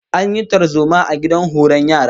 An yi tarzoma a gidan horon yara